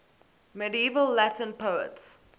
medieval latin poets